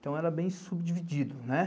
Então era bem subdividido, né?